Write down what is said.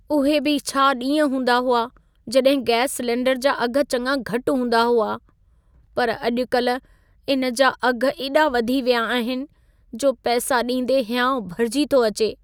उहे बि छा ॾींहं हूंदा हुआ जॾहिं गैस सिलेंडर जा अघि चङा घटि हूंदा हुआ। पर अॼु-कल्हि इन जा अघि एॾा वधी विया आहिनि, जो पैसा ॾींदे हिंयाउ भरिजी थो अचे।